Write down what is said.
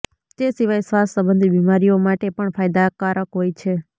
તે સિવાય શ્વાસ સંબંધી બીમારીઓ માટે પણ ફાયદાકારક હોય છે